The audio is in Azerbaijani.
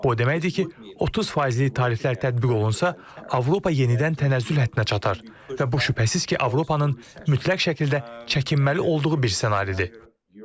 Bu o deməkdir ki, 30 faizlik tariflər tətbiq olunsa, Avropa yenidən tənəzzül xəttinə çatar və bu şübhəsiz ki, Avropanın mütləq şəkildə çəkinməli olduğu bir ssenaridir.